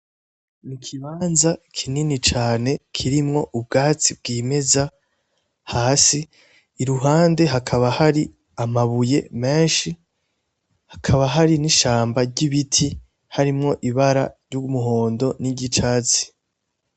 Ni ikibanza kinini cane kirimwo ubwatsi bwimeza hasi, iruhande hakaba hari amabuye menshi hakaba hari n’ishamba ry’ibiti arimwo ibara ry’umuhondo niry’icatsi